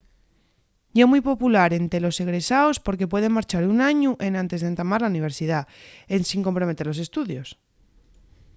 ye mui popular ente los egresaos porque pueden marchar un añu enantes d'entamar la universidá ensin comprometer los estudios